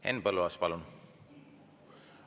Henn Põlluaas, palun!